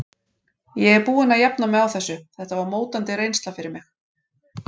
Ég er búinn að jafna mig á þessu, þetta var mótandi reynsla fyrir mig.